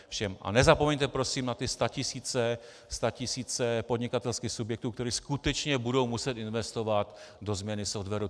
A nezapomeňte prosím na ty statisíce podnikatelských subjektů, které skutečně budou muset investovat do změny softwaru.